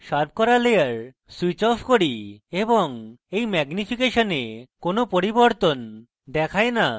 sharp করা layer switch off করি কিন্তু এই ম্যাগনিফিকেশনে কোনো পরিবর্তন দেখায় no